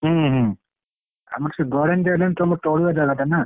ହୁଁ ହୁଁ ଆମର ସେ ଗଡାଣି ଦିଅ ଟା ତମର ତଳୁଆ ଜାଗା ଟା ନା।